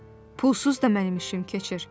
"Pulsuz da mənim işim keçir.